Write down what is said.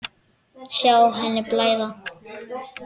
Sjá henni blæða.